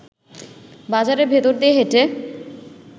বাজারের ভেতর দিয়ে হেঁটে